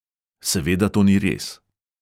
Seveda to ni res.